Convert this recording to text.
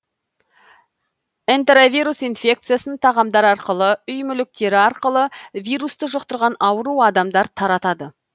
энтеровирус инфекциясын тағамдар арқылы үй мүліктері арқылы вирусты жұқтырған ауру адамдар таратады